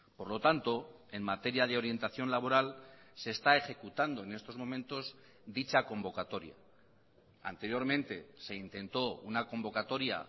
por lo tanto en materia de orientación laboral se está ejecutando en estos momentos dicha convocatoria anteriormente se intentó una convocatoria